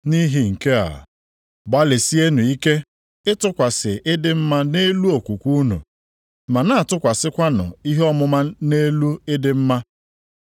Nʼihi nke a, gbalịsienụ ike ịtụkwasị ịdị mma nʼelu okwukwe unu, ma na-atụkwasịkwanụ ihe ọmụma nʼelu ịdị mma,